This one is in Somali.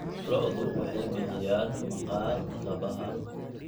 Lo'du waxay bixiyaan maqaar kabaha.